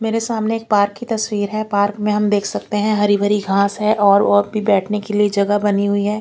मेरे सामने एक पार्क की तस्वीर है पार्क में हम देख सकते है हरी भरी घास है और और भी बेठने के लिए जगह बनी हुई है।